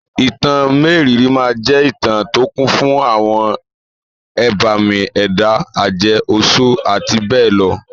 Ìtàn mérìíìírí máa jẹ́ ìtà tó kún fún àwọn ẹbàmì ẹ̀dá, àjẹ́, oṣọ́ àti bẹ́ẹ̀ lọ.